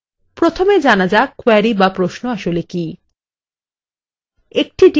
প্রথমে জানা যাক query বা প্রশ্ন আসলে কি